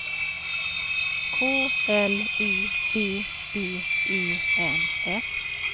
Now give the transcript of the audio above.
K L U B B E N S